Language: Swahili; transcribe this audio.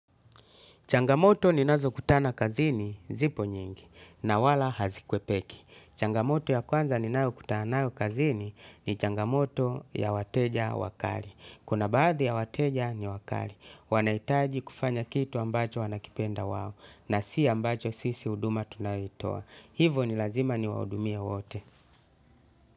Changamoto ninazokutana kazini zipo nyingi na wala hazikuepeki changamoto ya kwanza ninayokutana nayo kazini ni changamoto ya wateja wakali. Kuna baadhi ya wateja ni wakali. Wanaitaji kufanya kitu ambacho wanakipenda wawo na si ambacho sisi uduma tunaitoa. Hivo ni lazima ni waudumia wote.